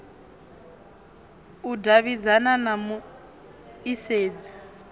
u davhidzana na mu isedzi